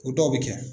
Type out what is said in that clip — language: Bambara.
O dɔw bɛ kɛ